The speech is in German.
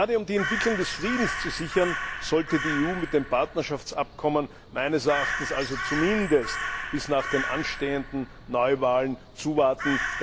Gerade um die Entwicklung des Friedens zu sichern, sollte die EU mit dem Partnerschaftsabkommen meines Erachtens zumindest bis nach den anstehenden Neuwahlen zuwarten.